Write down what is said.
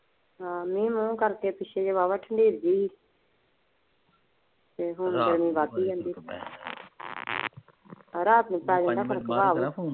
ਆਹ ਮੀਹ ਮੂਹ ਕਰਕੇ ਪਿੱਛੇ ਜੇ ਵਾਹਵਾ ਠੰਡੀ ਜੀ ਤੇ ਹੁਣ ਗਰਮੀ ਵੱਧ ਜਾਂਦੀ ਏ। ਰਾਤ ਨੂੰ ਪੈ ਜਾਂਦਾ ਫਰਕ